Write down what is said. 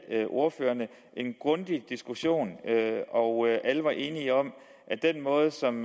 ordførerne en grundig diskussion og alle var enige om at den måde som